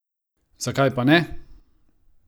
Zakaj pa ne!